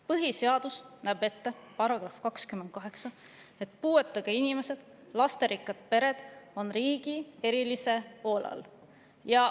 Põhiseaduse § 28 näeb ette, et puuetega inimesed ja lasterikkad pered on riigi erilise hoole all.